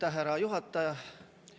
Aitäh, härra juhataja!